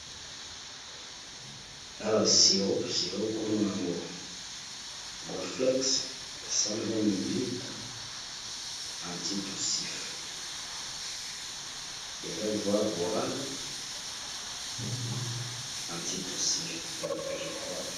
Awa Ciro, Ciro kombo nango Guaflex ya 12O ml anti tussif eza voie oral antitusif donc je crois...